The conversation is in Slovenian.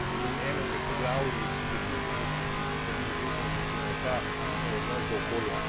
In eno od teh poglavij je tudi ki sicer ni izrecno napisano, je pa vidno je odnos do okolja.